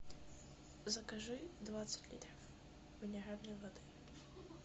закажи двадцать литров минеральной воды